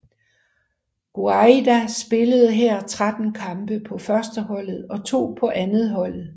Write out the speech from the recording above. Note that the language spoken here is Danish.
Gouaida spillede her 13 kampe på førsteholdet og to på andetholdet